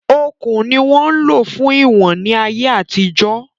Okùn ni wọ́n ń lò fún iwọ̀n ní ayé àtijọ́